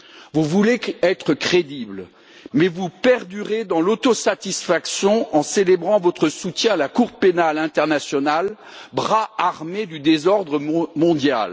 Vous voulez être crédible, mais vous perdurez dans l'autosatisfaction en célébrant votre soutien à la Cour pénale internationale, bras armé du désordre mondial.